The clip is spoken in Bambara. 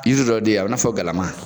dɔ di a bɛ i n'a fɔ galama